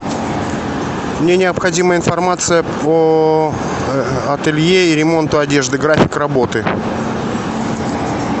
мне необходима информация по ателье и ремонту одежды график работы